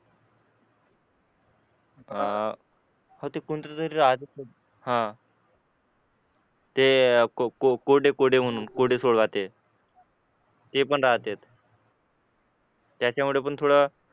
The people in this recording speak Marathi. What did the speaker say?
अं हा तिथे कोणीतरी राहतं हा कोरडे कोरडे म्हणून कोरडे ते पण राहता त्याच्यामुळे पण थोड